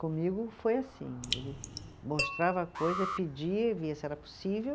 Comigo foi assim, ele mostrava a coisa, pedia, via se era possível,